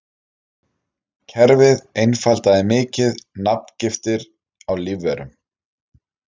Kerfið einfaldaði mikið nafngiftir á lífverum.